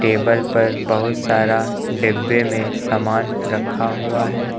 Table पर बहुत सारा डिब्बे में समान रखा हुआ है।